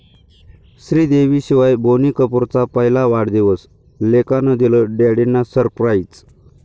श्रीदेवीशिवाय बोनी कपूरचा पहिला वाढदिवस, लेकानं दिलं डॅडींना सरप्राईज